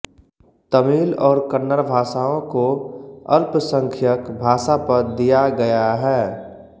तमिल और कन्नड़ भाषाओं को अल्पसंख्यक भाषापद दिया गया है